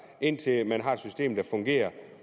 indtil man har et system der fungerer